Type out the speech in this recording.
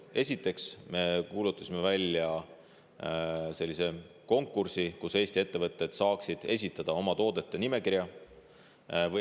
Esiteks, me kuulutasime välja sellise konkursi, et Eesti ettevõtted saaksid esitada oma toodete nimekirja.